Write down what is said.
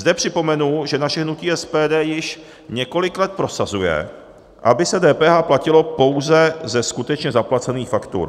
Zde připomenu, že naše hnutí SPD již několik let prosazuje, aby se DPH platilo pouze ze skutečně zaplacených faktur.